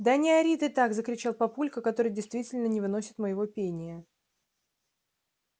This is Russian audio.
да не ори ты так закричал папулька который действительно не выносит моего пения